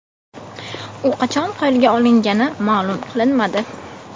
U qachon qo‘lga olingani ma’lum qilinmadi.